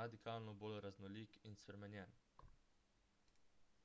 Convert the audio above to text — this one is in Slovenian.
radikalno bolj raznolik in spremenjen